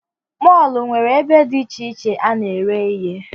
Mọlụ nwere ebe dị icheiche a na ere ihe